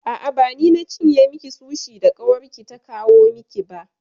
A'a, ba ni na cinye miki sushi da ƙawarki ta kawo miki ba.